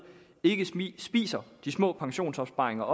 ikke spiser de små pensionsopsparinger